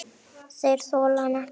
Þeir þola hann ekki.